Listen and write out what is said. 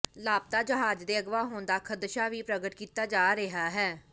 ਲਾਪਤਾ ਜਹਾਜ਼ ਦੇ ਅਗਵਾ ਹੋਣ ਦਾ ਖ਼ਦਸ਼ਾ ਵੀ ਪ੍ਰਗਟ ਕੀਤਾ ਜਾ ਰਿਹਾ ਹੈ